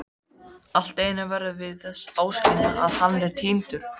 Alltíeinu verðum við þess áskynja að hann er týndur.